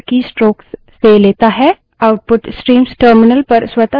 स्वतः से यह terminal keystrokes से लेता है